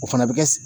O fana bɛ kɛ